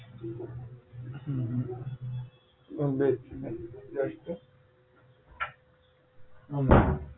બસ બેજ મિનિટ